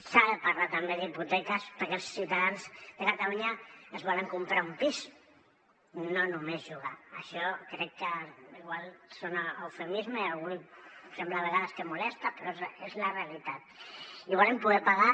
s’ha de parlar també d’hipoteques perquè els ciutadans de catalunya es volen comprar un pis no només llogar això crec que igual sona a eufemisme i a algú sembla a vegades que el molesta però és la realitat i volen poder pagar